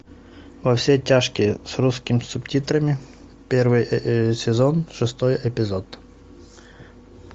во все тяжкие с русскими субтитрами первый сезон шестой эпизод